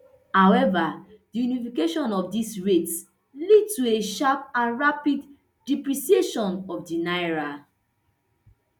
however di unification of dis rates lead to a sharp and rapid depreciation of di naira